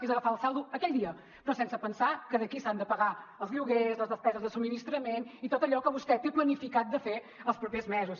és agafar el saldo aquell dia però sense pensar que d’aquí s’han de pagar els lloguers les despeses de subministrament i tot allò que vostè té planificat de fer els propers mesos